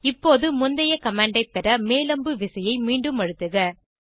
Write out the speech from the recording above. இப்போது முந்தைய கமாண்ட் ஐ பெற மேல் அம்பு விசையை மீண்டும் அழுத்துக